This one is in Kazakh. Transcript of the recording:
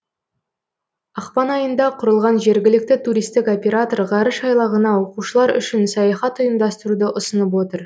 ақпан айында құрылған жергілікті туристік оператор ғарыш айлағына оқушылар үшін саяхат ұйымдастыруды ұсынып отыр